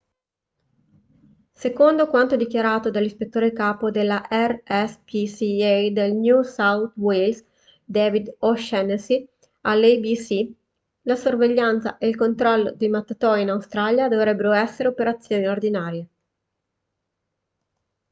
secondo quanto dichiarato dall'ispettore capo della rspca del new south wales david o'shannessy all'abc la sorveglianza e il controllo dei mattatoi in australia dovrebbero essere operazioni ordinarie